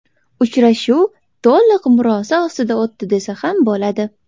Uchrashuv to‘liq murosa ostida o‘tdi desa bo‘ladi.